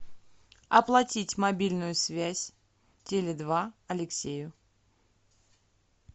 оплатить мобильную связь теле два алексею